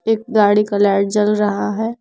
एक गाड़ी का लाइट जल रहा है।